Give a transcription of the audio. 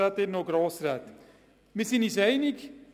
Wir sind uns einig.